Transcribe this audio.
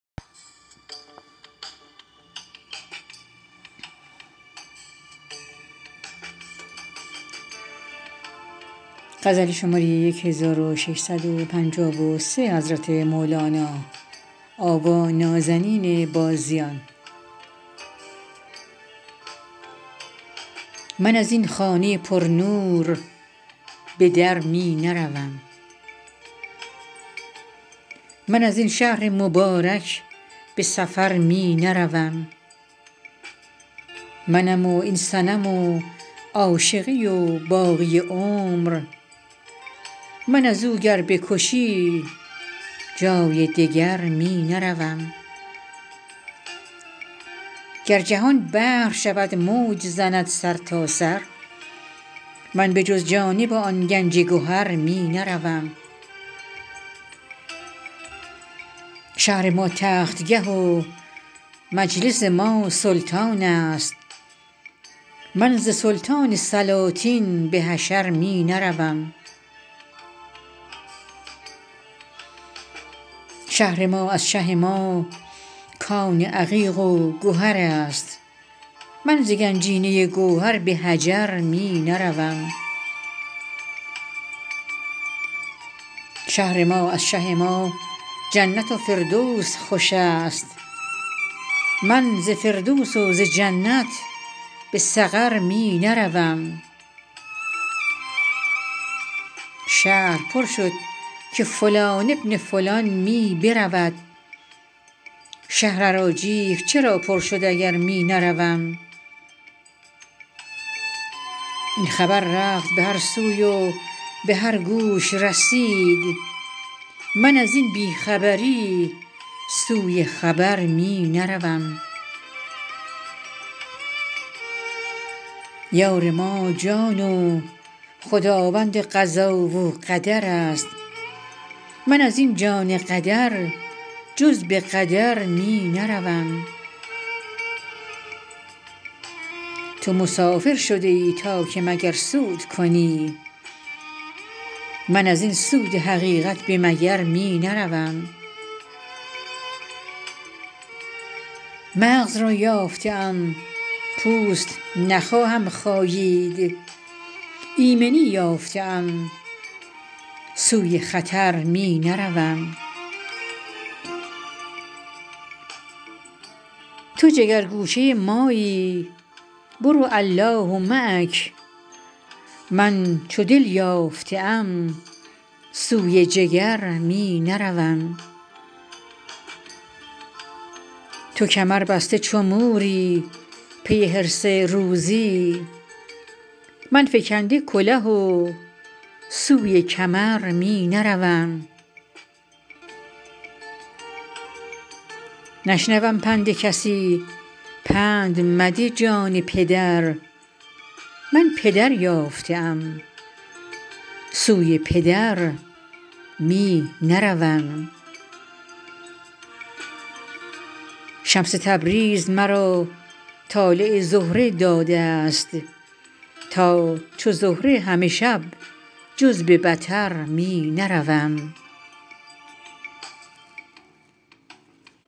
من از این خانه پرنور به در می نروم من از این شهر مبارک به سفر می نروم منم و این صنم و عاشقی و باقی عمر من از او گر بکشی جای دگر می نروم گر جهان بحر شود موج زند سرتاسر من به جز جانب آن گنج گهر می نروم شهر ما تختگه و مجلس آن سلطان است من ز سلطان سلاطین به حشر می نروم شهر ما از شه ما کان عقیق و گهر است من ز گنجینه گوهر به حجر می نروم شهر ما از شه ما جنت و فردوس خوش است من ز فردوس و ز جنت به سقر می نروم شهر پر شد که فلان بن فلان می برود شهر اراجیف چرا پر شد اگر می نروم این خبر رفت به هر سوی و به هر گوش رسید من از این بی خبری سوی خبر می نروم یار ما جان و خداوند قضا و قدر است من از این جان قدر جز به قدر می نروم تو مسافر شده ای تا که مگر سود کنی من از این سود حقیقت به مگر می نروم مغز را یافته ام پوست نخواهم خایید ایمنی یافته ام سوی خطر می نروم تو جگرگوشه مایی برو الله معک من چو دل یافته ام سوی جگر می نروم تو کمربسته چو موری پی حرص روزی من فکنده کله و سوی کمر می نروم نشنوم پند کسی پند مده جان پدر من پدر یافته ام سوی پدر می نروم شمس تبریز مرا طالع زهره داده ست تا چو زهره همه شب جز به بطر می نروم